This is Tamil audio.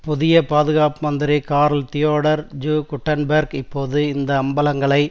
புதிய பாதுகாப்பு மந்திரி கார்ல் தியோடர் ஜு குட்டன்பேர்க் இப்பொழுது இந்த அம்பலங்களை